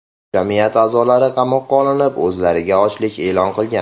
Jamiyat a’zolari qamoqqa olinib, o‘zlariga ochlik e’lon qilgan.